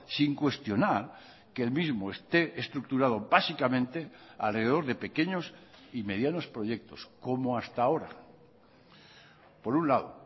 sin cuestionar que el mismo esté estructurado básicamente alrededor de pequeños y medianos proyectos como hasta ahora por un lado